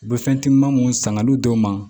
U bɛ fɛn timinama mun sanga n'u dɔw ma